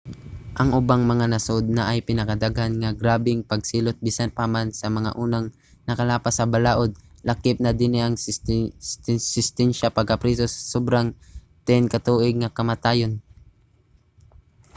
ang ubang mga nasud naay pinakadaghan nga grabeng pagsilot bisan pa man sa mga unang nakalapas sa balaod; lakip na dinhi ang sentinsya sa pagkapriso sa sobra 10 ka tuig o kamatayon